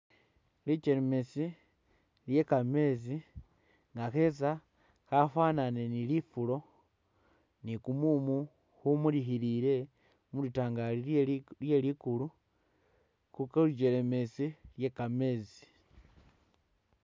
Likelemeetsi lye kameetsi kaketsa kafwanane ni lifulo ni kumumu kumulikhilile mu litangali lye li lye likulu khu kulujelemetsi lye kameetsi.